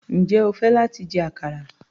Njẹ́ o fẹ́ láti jẹ àkàrà?